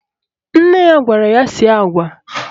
Nne ya gwara ya sie agwa